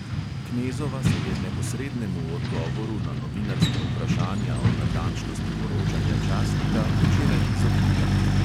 Knezova se je neposrednemu odgovoru na novinarska vprašanja o natančnosti poročanja časnika včeraj izognila.